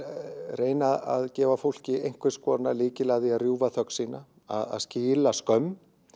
reyna að gefa fólki einhvers konar lykil að því að rjúfa þögn sína að skila skömm